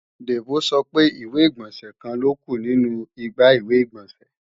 Debo sọ pé ìwé-ìgbọ̀nsẹ̀ kan ló kù nínu igbá ìwé-ìgbọ̀nsẹ̀